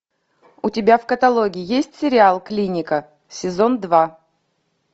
у тебя в каталоге есть сериал клиника сезон два